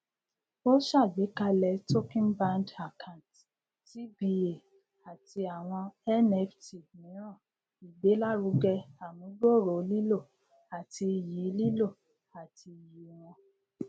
o ṣàgbékalẹ tokenbound account tba àti àwọn nft míràn igbelaruge amugbooro lilo àti iyì lilo àti iyì wọn